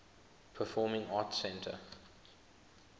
performing arts center